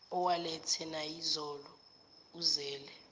awalethe nayizolo uzele